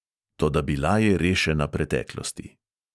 Toda bila je rešena preteklosti.